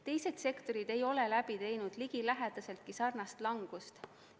Teised sektorid ei ole läbi teinud ligilähedaseltki sarnast langust.